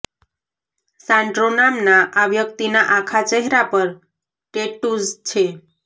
Sandro નામના આ વ્યક્તિના આખા ચહેરા પર ટેટ્ટૂઝ છે